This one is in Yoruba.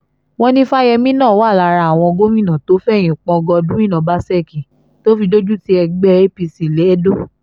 wọ́n ní fáyẹ́mì náà wà lára àwọn gómìnà tó fẹ̀yìn pọ́n godwin ọbaṣẹ́kí tó fi dojútì ẹgbẹ́ apc lẹ́dọ̀